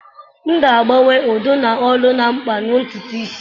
M ga-agbakwunye udidi na olu na mkpa na ntutu isi.